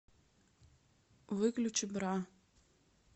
выключи бра